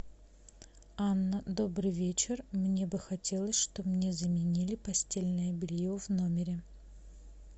анна добрый вечер мне бы хотелось чтобы мне заменили постельное белье в номере